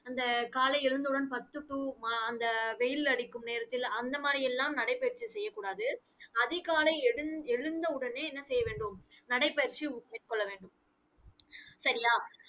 அந்த காலை எழுந்தவுடன் பத்து to மா~ அஹ் அந்த வெயில் அடிக்கும் நேரத்தில் அந்த மாதிரி எல்லாம் நடைப்பயிற்சி செய்யக் கூடாது. அதிகாலை எழுந்~ எழுந்த உடனே என்ன செய்ய வேண்டும் நடைபயிற்சி மேற்கொள்ள வேண்டும் சரியா?